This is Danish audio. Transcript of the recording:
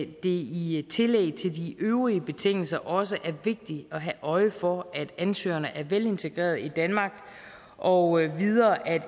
i tillæg til de øvrige betingelser også er vigtigt at have øje for at ansøgerne er velintegrerede i danmark og at